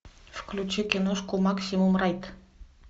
включи киношку максимум райд